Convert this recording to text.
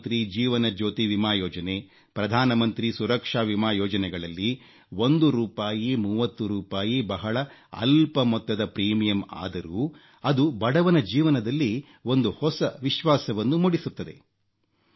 ಪ್ರಧಾನಮಂತ್ರಿ ಜೀವನ ಜ್ಯೋತಿ ವಿಮಾ ಯೋಜನೆ ಪ್ರಧಾನಮಂತ್ರಿ ಸುರಕ್ಷಾ ವಿಮಾ ಯೋಜನೆಗಳಲ್ಲಿ ಒಂದು ರೂಪಾಯಿ 30 ರೂಪಾಯಿ ಬಹಳ ಅಲ್ಪ ಮೊತ್ತದ ಪ್ರೀಮಿಯಂ ಆದರೂ ಅದು ಬಡವನ ಜೀವನದಲ್ಲಿ ಒಂದು ಹೊಸ ವಿಶ್ವಾಸವನ್ನು ಮೂಡಿಸುತ್ತದೆ